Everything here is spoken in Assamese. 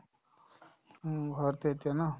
উম, ঘৰতে এতিয়া ন ?